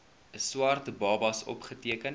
swart babas opgeteken